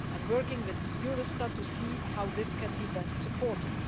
I am working with Eurostat to see how this can best be supported.